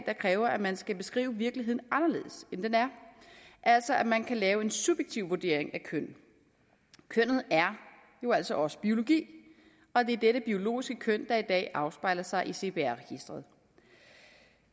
der kræver at man skal beskrive virkeligheden anderledes end den er altså at man kan lave en subjektiv vurdering af køn kønnet er jo altså også biologi og det er dette biologiske køn der i dag afspejler sig i cpr registeret